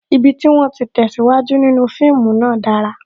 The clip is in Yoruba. Ibi tí wón ti tesiwaju nínú fíìmù náà dára